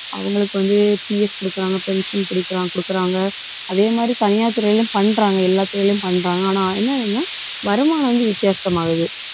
அவங்களுக்கு வந்து PF குடுக்குறாங்க pension பிடிக்கிறாங்க, கொடுக்குறாங்க. அதே மாதிரி தனியார் துறையிலும் பண்றாங்க எல்லா துறையிலும் பண்றாங்க. ஆனால், என்னன்னா வருமானம் வந்து வித்தியாசமாகுது.